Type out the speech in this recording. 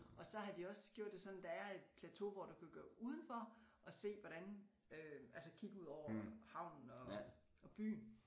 Og så har de også gjort det sådan der er et plateau hvor du kan gå udenfor og se hvordan øh altså kigge ud over havnen og og byen